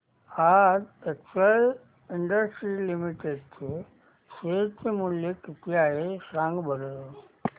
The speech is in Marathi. आज एक्सेल इंडस्ट्रीज लिमिटेड चे शेअर चे मूल्य किती आहे सांगा बरं